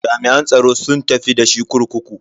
Jami'an tsaron sun tafi da shi kurkuku.